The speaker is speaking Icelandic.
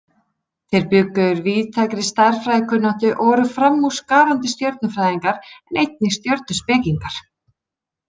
Þeir bjuggu yfir víðtækri stærðfræðikunnáttu og voru framúrskarandi stjörnufræðingar en einnig stjörnuspekingar.